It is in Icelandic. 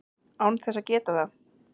án þess að geta það.